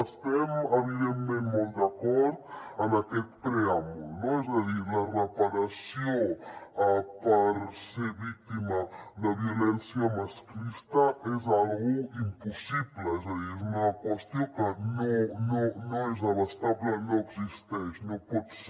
estem evidentment molt d’acord amb aquest preàmbul no és a dir la reparació per haver estat víctima de violència masclista és una cosa impossible és a dir és una qüestió que no és abastable no existeix no pot ser